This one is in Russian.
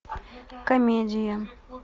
комедия